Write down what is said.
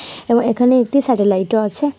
এবং এখানে একটি সেটেলাইট -ও আছে।